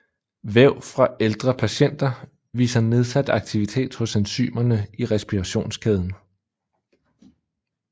Væv fra ældre patienter viser nedsat aktivitet hos enzymerne i respirationskæden